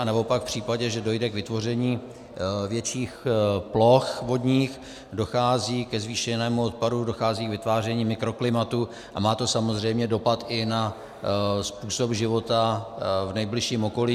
Anebo pak v případě, že dojde k vytvoření větších ploch vodních, dochází ke zvýšenému odpadu, dochází k vytváření mikroklimatu a má to samozřejmě dopad i na způsob života v nejbližším okolí.